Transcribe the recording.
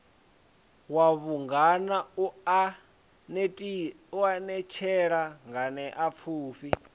wa vhungana u anetshela nganeapfufhi